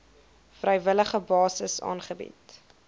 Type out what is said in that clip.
vrywillige basis aangebied